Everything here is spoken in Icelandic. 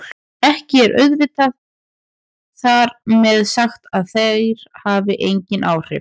Ekki er auðvitað þar með sagt að þær hafi engin áhrif!